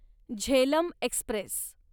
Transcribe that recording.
Jhelum Express